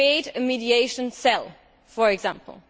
Create a mediation cell, for example.